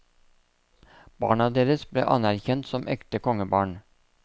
Barna deres ble anerkjent som ekte kongebarn.